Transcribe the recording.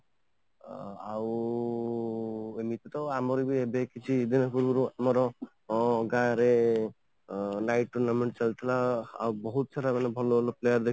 ଆଉ ଏମିତି ତ ଆମର ବି ଏବେ କିଛି exam ପୂର୍ବରୁ ବହୁତ ସାରା ଗାଁ ରେ live tournament ଚାଲୁଥିଲା ଆଉ ବହୁତ ସାରା ଏମିତି ଭଲ ଭଲ player